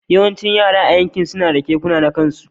Yawancin yara a yankin suna, da keke na kansu.